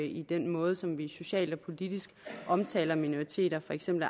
i den måde som vi socialt og politisk omtaler minoriteter for eksempel